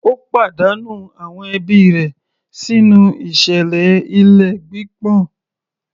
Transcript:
Ó pàdánù àwọn ẹbí rẹ̀ sínú ìṣẹ̀lẹ̀ ilé gbígbọ̀n